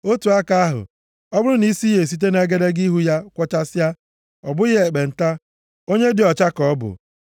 Otu aka ahụ, ọ bụrụ na isi ya esite nʼegedege ihu ya kwọchasịa, ọ bụghị ekpenta, onye dị ọcha ka ọ bụ.